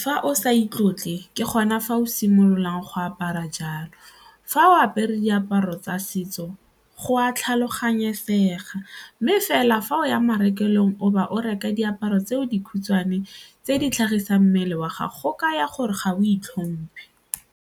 fa o sa itlotle ke gona fa o simololang go apara jalo, fa o apere diaparo tsa setso go a tlhaloganyesega mme fela fa o ya marekelong o ba o reka diaparo tse dikhutshwane tse di tlhagisang mmele wa gago kaya gore ga o itlhomphe.